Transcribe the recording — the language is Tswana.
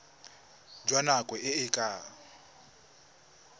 jwa nako e e ka